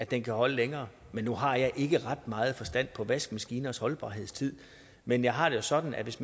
den kan holde længere nu har jeg ikke ret meget forstand på vaskemaskiners holdbarhed men jeg har det sådan at hvis